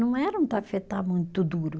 Não era um tafetá muito duro.